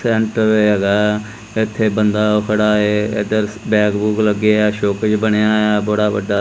Tent ਵੀ ਹੈਗਾ ਇਥੇ ਬੰਦਾ ਖੜਾ ਹੈ ਬੈਗ ਬੂਗ ਲੱਗੇ ਆ ਸ਼ੋਕੇਸ ਬਣਿਆ ਬੜਾ ਵੱਡਾ।